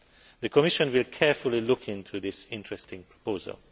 The Commission will carefully look into this interesting proposal.